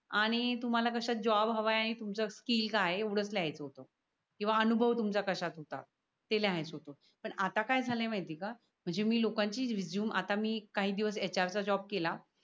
आणि तुम्हाला कशा जॉब हवाय आणि तुमचस्किल काय एवढच लिहायच होत. किवा अनुभव तुमचा कशात होता? ते लिहायच होत पण आता काय झाली माहिती ये का? म्हणजे मी लोका चि resume आता मी काही दिवस HR च जॉब केला.